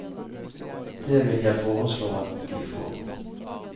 Det vil jeg foreslå at de får.